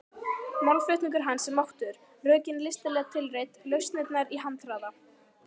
Málflutningur hans er máttugur, rökin listilega tilreidd, lausnirnar í handraða.